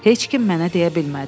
Heç kim mənə deyə bilmədi.